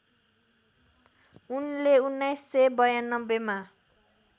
उनले १९९२ मा